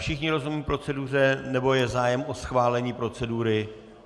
Všichni rozumějí proceduře nebo je zájem o schválení procedury?